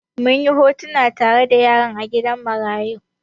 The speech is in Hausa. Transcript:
Mun yi hotuna tare da yara a gidan marayu.